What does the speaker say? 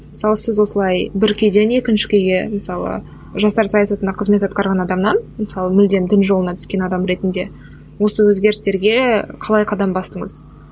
мысалы сіз осылай бір күйден екінші күйге мысалы жастар саясатында қызмет атқарған адамнан мысалы мүлдем дін жолына түскен адам ретінде осы өзгерістерге қалай қадам бастыңыз